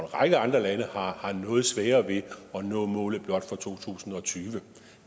række andre lande har noget sværere ved at nå målet blot for to tusind og tyve